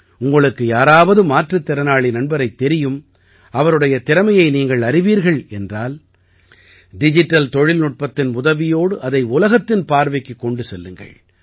உங்களுக்கு யாராவது மாற்றுத் திறனாளி நண்பரைத் தெரியும் அவருடைய திறமையை நீங்கள் அறிவீர்கள் என்றால் டிஜிட்டல் தொழில்நுட்பத்தின் உதவியோடு அதை உலகத்தின் பார்வைக்குக் கொண்டு வாருங்கள்